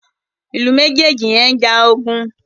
Ilú mejeji yén njà ogun.